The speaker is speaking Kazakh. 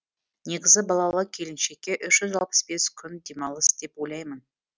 негізі балалы келіншекке үш жүз алпыс бес күн демалыс деп ойлаймын